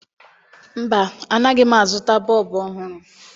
Mba, anaghị m azụta bọọbụ ọhụrụ